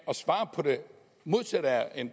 at svare på det modsatte af